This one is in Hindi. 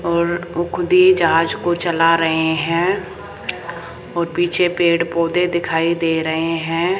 और वो खुद ही जहाज को चला रहे हैं और पीछे पेड़ पौधे दिखाई दे रहे हैं।